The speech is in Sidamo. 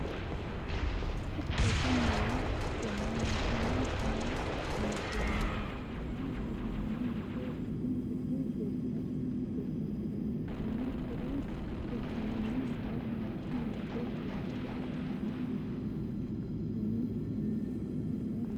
rosu minne ikanna rosaano no uniforimensa udidhe ka'e rosu gibbe giddo afanitanno kuri rosaano baalunku mitte kilase e'annoha ikikinni umi uminsata e'e rosanno.